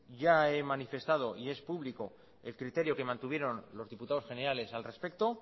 ya he manifestado y es público el criterio que mantuvieron los diputados generales al respecto